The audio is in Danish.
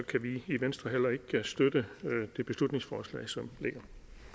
kan vi i venstre heller ikke støtte det beslutningsforslag som ligger